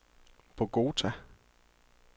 Bogota